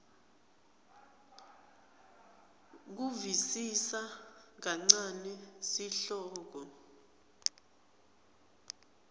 kusivisisa kancane sihloko